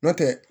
N'o tɛ